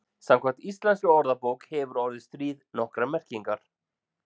Samkvæmt íslenskri orðabók hefur orðið stríð nokkrar merkingar.